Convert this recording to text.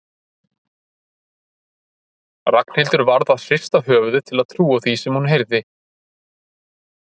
Ragnhildur varð að hrista höfuðið til að trúa því sem hún heyrði.